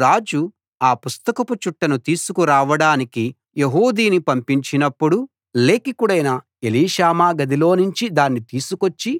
అప్పుడు రాజు ఆ పుస్తకపు చుట్టను తీసుకురావడానికి యెహూదిని పంపించినప్పుడు అతడు లేఖికుడైన ఎలీషామా గదిలోనుంచి దాన్ని తీసుకొచ్చి